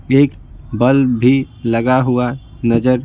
एक बल्ब भी लगा हुआ नजर--